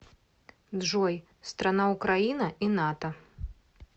джой страна украина и нато